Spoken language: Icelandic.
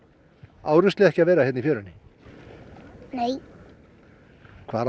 á ruslið ekki að vera í fjörunni nei hvar á